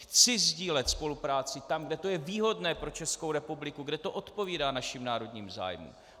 Chci sdílet spolupráci tam, kde to je výhodné pro Českou republiku, kde to odpovídá našim národním zájmům.